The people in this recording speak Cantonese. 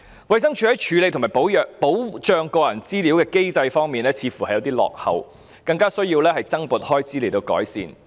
衞生署在處理和保障個人資料的機制似乎有些落後，所以需要增撥開支來作出改善。